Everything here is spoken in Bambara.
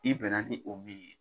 I bɛn na ni o min ye